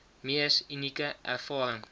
mees unieke ervaring